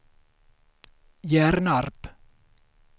Hjärnarp